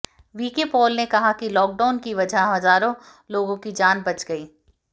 VK Paul ने कहा कि लॉकडाउन की वजह हजारों लोगों की जान बच गई